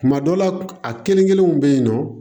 Kuma dɔ la a kelen kelenw bɛ yen nɔ